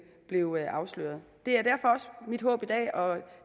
blev afsløret det er derfor også mit håb i dag og